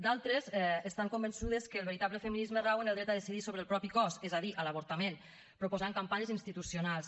d’altres estan convençudes que el veritable feminisme rau en el dret a decidir sobre el propi cos és a dir a l’avortament proposant campanyes institucionals